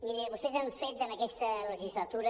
miri vostès han fet en aquesta legislatura